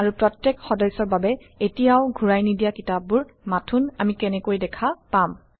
আৰু প্ৰত্যেক সদস্যৰ বাবে এতিয়াও ঘূৰাই নিদিয়া কিতাপবোৰ মাথোন আমি কেনেকৈ দেখা পাম